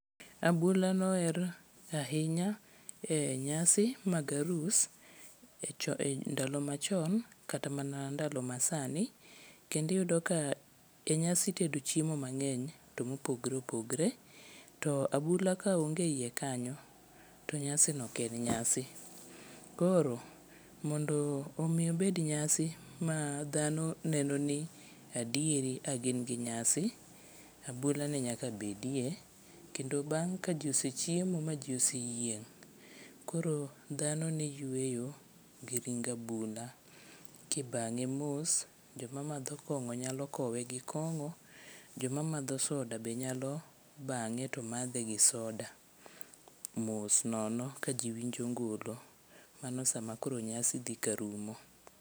Abula noher ahinya e nyasi mag arus ndalo machon kata mana ndalo masani, kendo iyudo ka e nyasi itedo chiemo mang'eny to mopogore opogore to abula kaonge e iye kanyo to nyasino ok en nyasi. Koro mondo omi obed nyasi ma dhano neno ni adieri a gin gi nyasi, abulani nyaka bedie kendo bamng' ka ji osechiemo ma ji oseyieng' koro dhano ne yweyo gi ring abula kibang'e mos, joma madho kong'o nyalo kowe gi kong'o joma madho soda be nyalo bang'e to madhe gi soda mos nono ka ji winjo ngolo, mano sama nyasi koro dhi ka rumo.